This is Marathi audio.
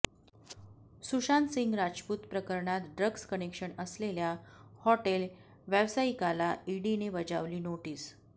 सुशांतसिंग राजपूत प्रकरणात ड्रग्ज कनेक्शन असलेल्या हॉटेल व्यावसायिकाला ईडीने बजावली नोटीस